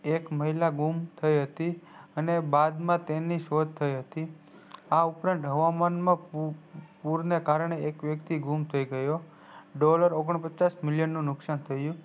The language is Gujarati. એક મહિલા ગુમ થઈ હતી અને બાદ માં તેની શોઘ હતી આ ઉપરાંત હવામાન પુરને કારને એક વ્યક્તિ ગુમ થઈ dollar ઓગન્પચ્સ million નું નુકસાન થયું